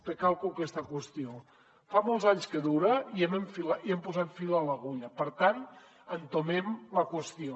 recalco aquesta qüestió fa molts anys que dura i ja hem posat fil a l’agulla per tant entomem la qüestió